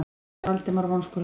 sagði Valdimar vonskulega.